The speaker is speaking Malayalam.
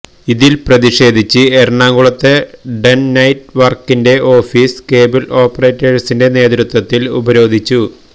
ഇതിൽ പ്രതിഷേധിച്ച് എണാകുളത്തെ ഡെൻ നെറ്റ് വർക്കിന്റെ ഓഫീസ് കേബിൾ ഓപ്പറേറ്റേഴ്സ് ന്റെ നേതൃത്വത്തിൽ ഉപരോധിച്ചു